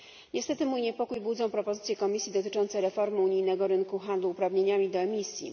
Niestety mój niepokój budzą propozycje Komisji dotyczące reformy unijnego rynku handlu uprawnieniami do emisji.